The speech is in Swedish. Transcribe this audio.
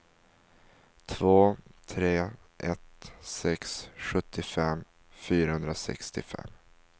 två tre ett sex sjuttiofem fyrahundrasextiofem